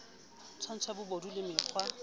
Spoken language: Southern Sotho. tswantsho ya bobodu le mkga